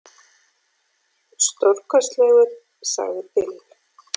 Stórkostlegur, sagði Bill.